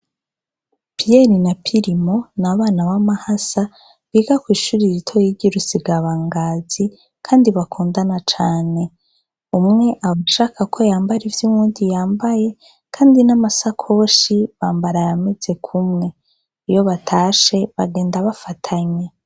Piyeri na Pirimo n’abana b’amahasa biga kw’ishure ritoyi ry’urusigabangazi kandi bakundana cane, umwe abashaka kwambara ivyo uwundi yambaye kandi namasakoshi bambara ayameze kumwe, iyo batashe bagenza bafatanye.